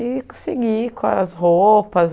E consegui, com as roupas.